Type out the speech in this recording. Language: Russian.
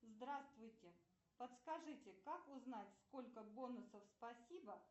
здравствуйте подскажите как узнать сколько бонусов спасибо